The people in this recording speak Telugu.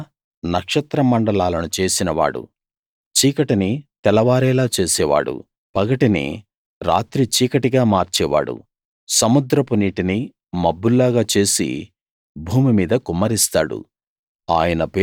ఆయన నక్షత్ర మండలాలను చేసిన వాడు చీకటిని తెలవారేలా చేసేవాడు పగటిని రాత్రి చీకటిగా మార్చేవాడు సముద్రపు నీటిని మబ్బుల్లాగా చేసి భూమి మీద కుమ్మరిస్తాడు